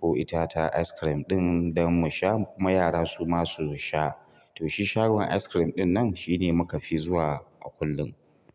ko ita ta ice cream ɗin dan mu sha kuma yara su masu sha. To shi shagon ice cream ɗinnan shine muka fi zuwa a kullum.